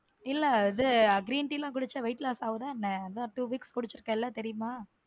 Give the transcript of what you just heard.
இல்ல அது green tea எல்லாம் குடிச்சா weight loss ஆகுதா என்ன அதான் two weeks குடிச்சிருக்குல தெரியுமா.